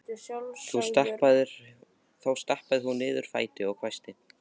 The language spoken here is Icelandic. Þá stappaði hún niður fæti og hvæsti